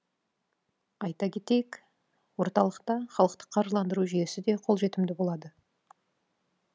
айта кетейік орталықта халықтық қаржыландыру жүйесі де қолжетімді болады